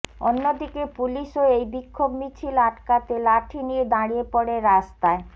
অন্যদিকে পুলিশও এই বিক্ষোভ মিছিল আটকাতে লাঠি নিয়ে দাড়িয়ে পড়ে রাস্তায়